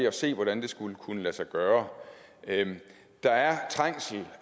at se hvordan det skulle kunne lade sig gøre der er trængsel